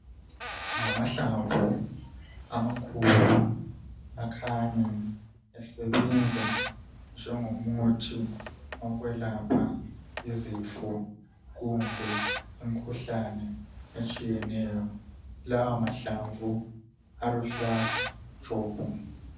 Ngamahlamvu amakhulu akhanye esebenza ngengomuthi okwelapha izifo kumbe imkhuhlane etshiyeneyo lawa mahlamvu aluhlaza tshoko